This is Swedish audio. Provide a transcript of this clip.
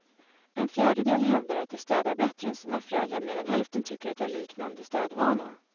En fjärdedel hävdar att de städar bättre än sina föräldrar medan hälften tycker att de har liknande städvanor.